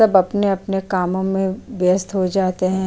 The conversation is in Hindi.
सब अपने-अपने कामों में व्यस्त हो जाते हैं।